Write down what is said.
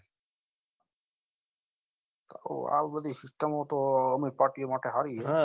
અઓહ આવી બઘી system મો તો અમીર party માટે સારી